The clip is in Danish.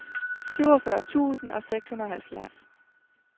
syvogfyrre tusind og seksoghalvfjerds